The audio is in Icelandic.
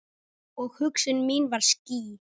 Og hugsun mín var skýr.